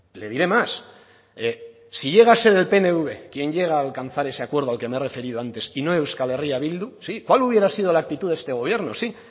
le diré más si llega a ser el pnv quien llega a alcanzar ese acuerdo al que me he referido antes y no euskal herria bildu sí cuál hubiera sido la actitud de este gobierno sí